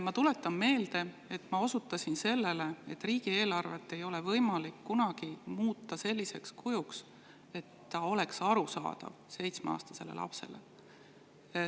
Ma tuletan meelde, et ma osutasin sellele, et riigieelarvet ei ole kunagi võimalik muuta selliseks, et ta oleks detailideni, täielikult arusaadav seitsmeaastasele lapsele.